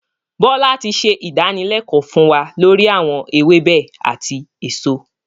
Bọlá tí ṣe ìdánilẹ̀kọ̀ fún wa lori awọn ewébẹ̀ àti èso.